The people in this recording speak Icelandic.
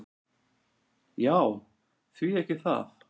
"""Já, því ekki það."""